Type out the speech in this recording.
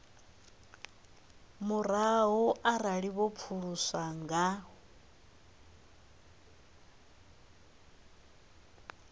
murahu arali vho pfuluswa nga